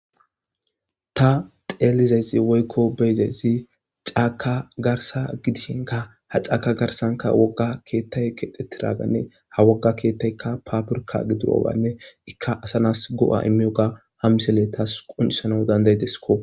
ta xeelizaysi woykko beyizaysi caaka garsa gidishinka ha caaka garsanka wogga keettay keexetti raaganne ha wogga keettaykka paburka gidurowanne ikka asanas go7a immiyoga hammisele taas qunisana dandayidesko